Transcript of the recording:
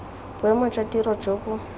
boemo jwa tiro jo bo